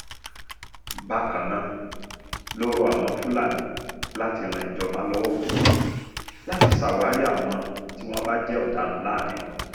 bákan náà ló rọ àwọn fúlàní láti ran ìjọba lọ́wọ́ láti ṣàwárí àwọn tí wọ́n bá jẹ́ ọ̀daràn láàárín wọn